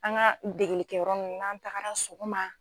An ka degelikɛ yɔrɔ ninnu n'an tagara sɔgɔma.